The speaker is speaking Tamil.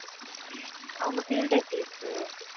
அவங்க field எப்படி இருக்கு.